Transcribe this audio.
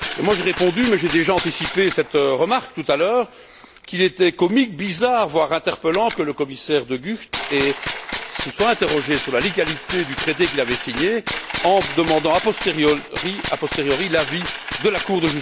J'ai répondu mais j'ai déjà anticipé cette remarque tout à l'heure qu'il était comique, bizarre, voire interpellant que le commissaire De Gucht se soit interrogé sur la légalité du traité qu'il avait signé en demandant, a posteriori, l'avis de la Cour.